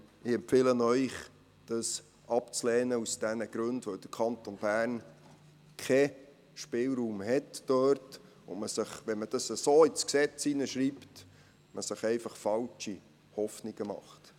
Ich empfehle Ihnen, den Antrag aus den dargelegten Gründen abzulehnen, weil der Kanton Bern hier keinen Spielraum hat und man sich, wenn man dies so ins Gesetz schreibt, falsche Hoffnungen macht.